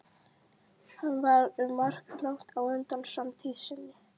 Hann var um margt langt á undan samtíð sinni.